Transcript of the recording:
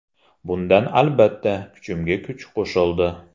Bundan albatta, kuchimga kuch qo‘shildi.